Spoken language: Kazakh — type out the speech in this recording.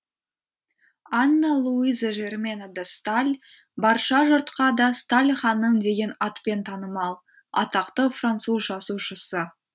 анна луиза жермена де сталь барша жұртқа да сталь ханым деген атпен танымал атақты француз жазушысы